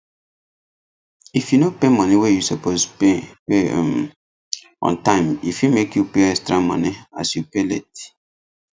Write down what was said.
if you no pay money wey you suppose pay pay um on time e fit make you pay extra money as you pay late